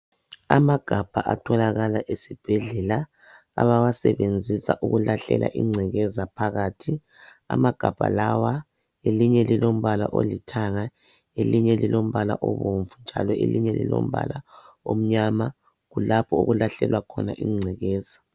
Amagabha atholakala esibhedlela abawasebenzisa ukulahlela ingcekeza phakathi amagabha lawa elinye lilombala olithanga elinye lilombala obomvu njalo elinye lilombala omnyama kulapho okulahlelwa khona ingcekeza